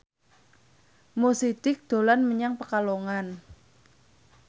Mo Sidik dolan menyang Pekalongan